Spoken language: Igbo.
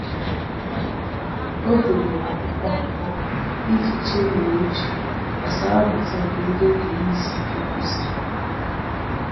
O debere akwụkwọ akụkọ iji chemie uche gbasara mmuta nke ndị oge ihe isi ike kuziri.